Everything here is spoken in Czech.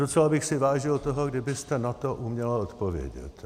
Docela bych si vážil toho, kdybyste na to uměla odpovědět.